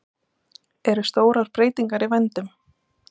Eru stórar breytingar í vændum?